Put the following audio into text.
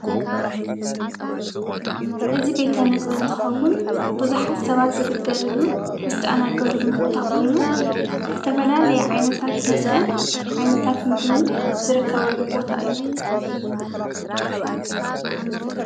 እዚ ቤተ ምግቢ እንትከውን ቡዝሓት ሰባት ዝግልገሉሉን ዝተኣናገድሉን ቦታ ኮይኑ ዝተፋላላየ ዓይነታት መስተን ዓይነታት ምግብን ዝርከበሉ ቦታ እዩ።